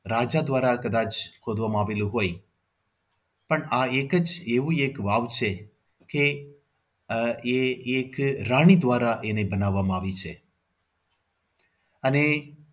રાજા દ્વારા કદાચ ખોદવામાં આવેલું હોય પણ આ એક જ એવું એક વાવ છે કે આહ એ એક રાણી દ્વારા એને બનાવવામાં આવી છે. અને